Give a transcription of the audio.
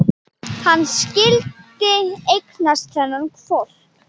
Hann skyldi eignast þennan hvolp!